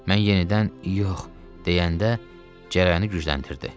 Mən yenidən “yox” deyəndə cərəyanı gücləndirdi.